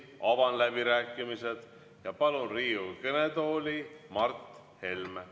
Avan läbirääkimised ja palun Riigikogu kõnetooli Mart Helme.